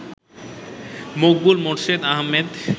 Maqbool Morshed Ahmed